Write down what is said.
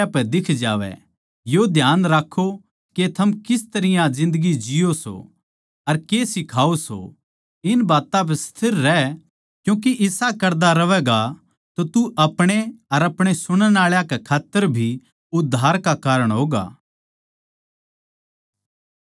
ये ध्यान राक्खों के थम किस तरियां जिन्दगी जिओ सों अर के सिखाओ सों इन बात्तां पै स्थिर रह क्यूँके इसा करदा रहवैगा तो तू अपणे अर अपणे सुणण आळा कै खात्तर भी उद्धार का कारण होगा